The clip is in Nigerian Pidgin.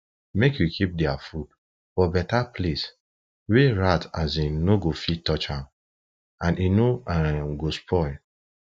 make u keep their food for better place wa rat um no go fit touch am and e no um go spoil